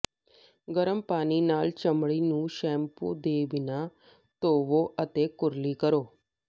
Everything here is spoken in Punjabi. ਗਰਮ ਪਾਣੀ ਨਾਲ ਚਮੜੀ ਨੂੰ ਸ਼ੈਂਪੂ ਦੇ ਬਿਨਾ ਧੋਵੋ ਅਤੇ ਕੁਰਲੀ ਕਰੋ